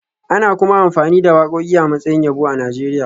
Ana kuma amfani da wakoki a matsayin yabo a Najeriya